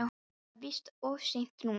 En það er víst of seint núna.